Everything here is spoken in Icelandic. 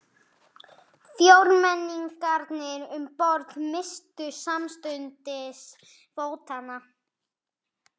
Fjórmenningarnir um borð misstu samstundis fótanna.